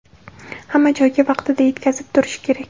hamma joyga vaqtida yetkazib turish kerak.